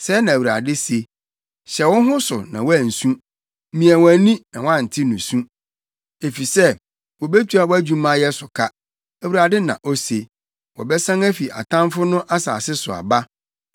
Sɛɛ na Awurade se: “Hyɛ wo ho so na woansu, mia wʼani na woante nusu, efisɛ wobetua wʼadwumayɛ so ka,” Awurade na ose. “Wɔbɛsan afi atamfo no asase so aba.